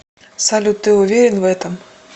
салют ты уверен в этом